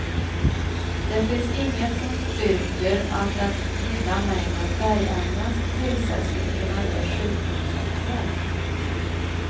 Det finns inget som styrker att den lilla mängden färgämnen som tillsätts skulle kunna ge sjukdomssymtom.